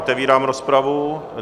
Otevírám rozpravu.